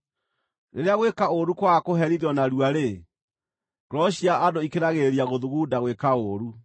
Rĩrĩa gwĩka ũũru kwaga kũherithio narua-rĩ, ngoro cia andũ ikĩragĩrĩria gũthugunda gwĩka ũũru.